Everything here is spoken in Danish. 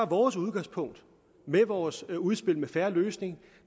vores udgangspunkt med vores udspil en fair løsning